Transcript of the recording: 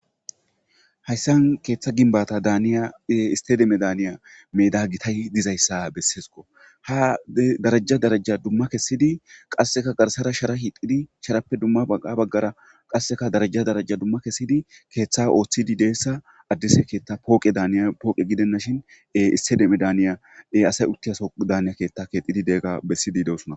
hayssan keeththa ginbata daaniya e istedeme daaniya meda gitay dizayssa besseesko ha daraja daraja dumma kessidi qasseka garsara shara hiixidi sharappe dumma bagga baggara qasseka daraja daraja dumma kessidi keeththa ooththidi deessa addise keeththa pooqe daaniya pooqe gidenna shin e istedeme daniya dey asay uttiyaso daaniya keetta keexidi degga bessidi deosona